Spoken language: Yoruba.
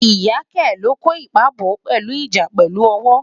ìyá ké lo kò ipa bọ, pelu ìjà pèlú owo